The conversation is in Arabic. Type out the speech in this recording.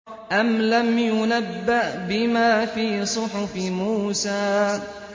أَمْ لَمْ يُنَبَّأْ بِمَا فِي صُحُفِ مُوسَىٰ